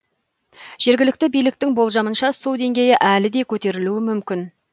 жергілікті биліктің болжамынша су деңгейі әлі де көтерілуі мүмкін